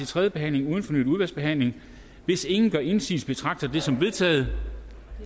tredje behandling uden fornyet udvalgsbehandling hvis ingen gør indsigelse betragter jeg det som vedtaget